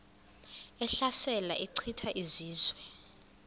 ehlasela echitha izizwe